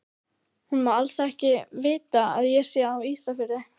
Hún má alls ekki vita að ég sé á Ísafirði!